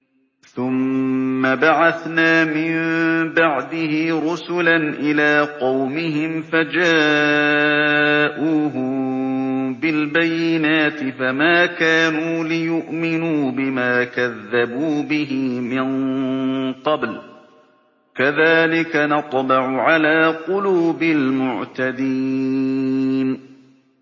ثُمَّ بَعَثْنَا مِن بَعْدِهِ رُسُلًا إِلَىٰ قَوْمِهِمْ فَجَاءُوهُم بِالْبَيِّنَاتِ فَمَا كَانُوا لِيُؤْمِنُوا بِمَا كَذَّبُوا بِهِ مِن قَبْلُ ۚ كَذَٰلِكَ نَطْبَعُ عَلَىٰ قُلُوبِ الْمُعْتَدِينَ